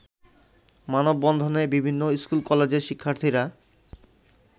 মানববন্ধনে বিভিন্ন স্কুল-কলেজের শিক্ষার্থীরা